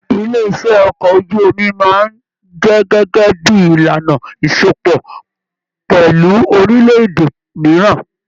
Ilé iṣẹ okọ̀ ojú omi máa n jẹ gẹgẹ bí ìlànà ìsopọ̀ pẹlú orilẹ-èdè mìíràn.